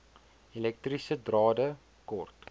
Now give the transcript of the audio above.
elektriese drade kort